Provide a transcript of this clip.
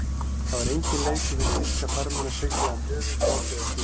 Það var enginn leikur fyrir þýska farmenn að sigla um höfin á ófriðartímum.